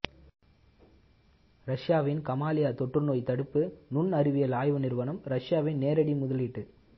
ரஷ்யாவின் காமாலியா தொற்றுநோய் தடுப்பு நுண் அறிவியல் ஆய்வு நிறுவனம் ரஷ்யாவின் நேரடி முதலீட்டு